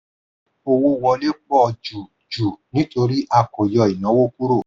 owó wọlé pọ̀ jù jù nítorí a kò yọ ìnáwó kúrò.